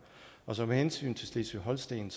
så med hensyn til slesvig holsten